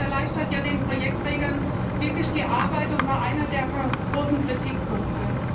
Das erleichtert ja den Projektträgern wirklich die Arbeit und war einer der großen Kritikpunkte.